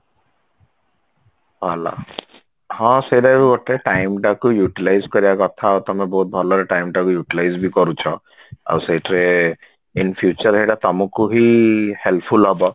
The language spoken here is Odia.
ଭଲ ହଁ ସେଇଟା ବି ଗୋଟେ time ଟାକୁ Utilize କରିବା କଥା ଆଉ ତମେ ବହୁତ ଭଲରେ time ଟାକୁ Utilize ବି କରୁଛ ଆଉ ସେଇଥିରେ in future ସେଇଟା ତମକୁ ହି helpful ହବ